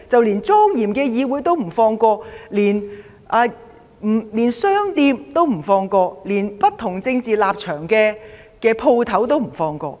連莊嚴的議會也不放過、連商店也不放過、連不同政治立場的商店也不放過。